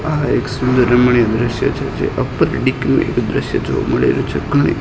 આ એક સુંદર રમણીય દ્રશ્ય છે જે એક દ્રશ્ય જોવા મળી રહ્યુ છે ઘણી--